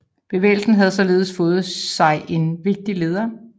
Bevægelsen havde således fået sig en vigtig leder